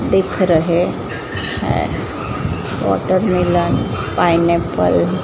दिख रहे हैं वाटरमेलन पाइनएप्पल --